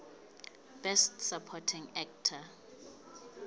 best supporting actor